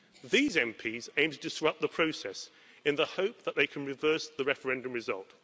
These MPs aim to disrupt the process in the hope that they can reverse the referendum result.